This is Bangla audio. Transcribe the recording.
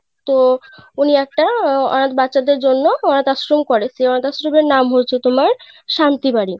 তো উনি একটা আহ অনাথ বাচ্চা দের জন্য অনাথ আশ্রম করে সেই অনাথ আশ্রমের এর নাম হয়েছে তোমার শান্তি বাড়ি.